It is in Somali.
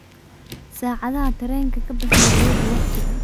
saadhaha tareenka kaboho Nairobi wagtiga